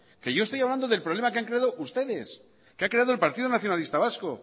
yo estoy hablando del problema que han creado ustedes que ha creado el partido nacionalista vasco